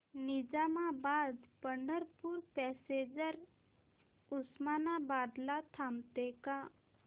Nizamabad Pandharpur passenger Osmanabad ला थांबते का